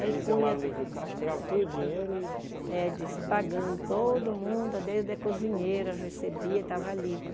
Aí eles iam lá no Livro Caixa, pegavam todo o dinheiro e... É, des pagando todo mundo, desde a cozinheira recebia, estava livre.